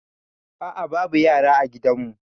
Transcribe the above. A'a babu yara a gidanmu.